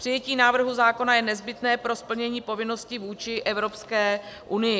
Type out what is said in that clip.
Přijetí návrhu zákona je nezbytné pro splnění povinnosti vůči Evropské unii.